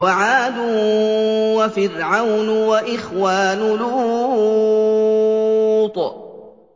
وَعَادٌ وَفِرْعَوْنُ وَإِخْوَانُ لُوطٍ